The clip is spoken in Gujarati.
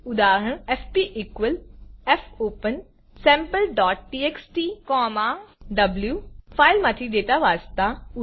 ઉદાહરણ એફપી fopensampleટીએક્સટી વો ફાઈલમાંથી ડેટા વાંચતા